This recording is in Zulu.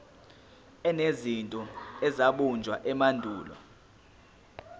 enezinto ezabunjwa emandulo